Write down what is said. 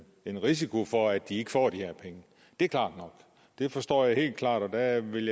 en risiko for at de ikke får de her penge det er klart nok det forstår jeg helt klart og jeg vil